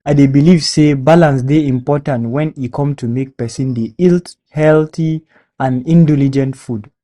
I dey believe say balance dey important when e come to make pesin dey eat healthy and indulgent food.